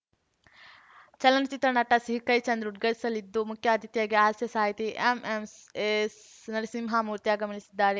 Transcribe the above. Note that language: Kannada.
ಚಲನಚಿತ್ರ ನಟ ಸಿಹಿ ಕಹಿ ಚಂದ್ರು ಉದ್ಘಾಟಿಸಲಿದ್ದು ಮುಖ್ಯ ಅತಿಥಿಯಾಗಿ ಹಾಸ್ಯ ಸಾಹಿತಿ ಎಂಎಂಎಸ್‌ನರಸಿಂಹಮೂರ್ತಿ ಆಗಮಿಸಲಿದ್ದಾರೆ